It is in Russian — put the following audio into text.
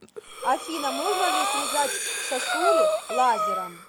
афина можно ли срезать сосули лазером